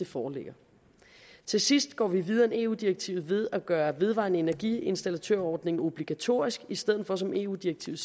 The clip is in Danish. foreligger til sidst går vi videre end eu direktivet ved at gøre den vedvarende energiinstallatør ordning obligatorisk i stedet for som eu direktivet